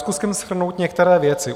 Zkusím shrnout některé věci.